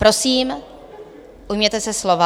Prosím, ujměte se slova.